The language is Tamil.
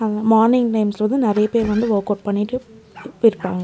அங்க மார்னிங் டைம்ஸ்ல வந்து நறைய பேர் வந்து வர்க்கவுட் பண்ணிட்டு இப் இருப்பாங்க.